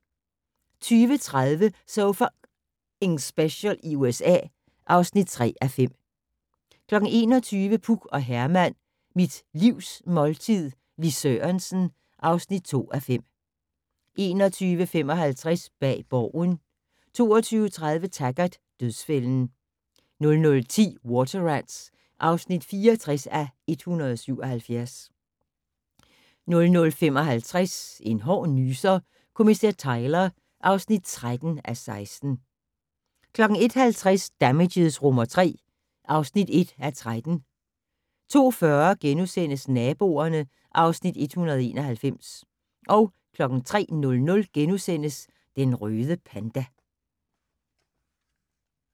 20:30: So F***ing Special i USA (3:5) 21:00: Puk og Herman - Mit Livs måltid - Lis Sørensen (2:5) 21:55: Bag Borgen 22:30: Taggart: Dødsfælden 00:10: Water Rats (64:177) 00:55: En hård nyser: Kommissær Tyler (13:16) 01:50: Damages III (1:13) 02:40: Naboerne (Afs. 191)* 03:00: Den røde panda *